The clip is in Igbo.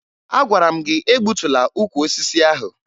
Agwara m gị egbutula ukwu osisi ahụ!